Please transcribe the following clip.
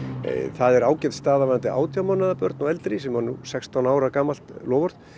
það er ágæt staða varðandi átján mánaða börn og eldri sem var nú sextán ára gamalt loforð